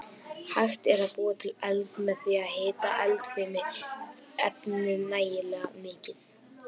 Hægt er að búa til eld með því að hita eldfim efni nægilega mikið.